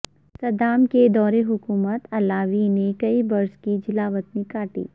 Saddam کے دور حکومت علاوی نے کئی برس کی جلاوطنی کاٹی